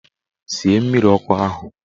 Sie mmiri ọkụ ahụ!